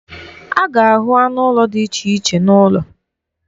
A ga-ahụ anụ ụlọ dị iche iche n'ụlọ.